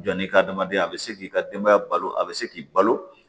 Jɔ ni hadamaden a bɛ se k'i ka denbaya balo a bɛ se k'i balo